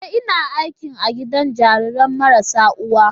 Ee! Ina aiki a gidan jarirai marasa uwa.